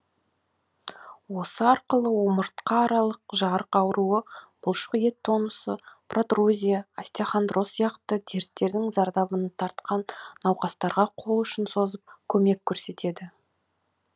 осы арқылы омыртқа аралық жарық ауруы бұлшық ет тонусы протрузия остеохондроз сияқты дерттердің зардабын тартқан науқастарға қол ұшын созып көмек көрсетеді